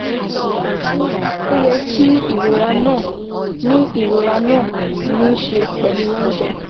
Ó yẹ kí ìrora náà ní ìrora náà ní í ṣe pẹ̀lú oúnjẹ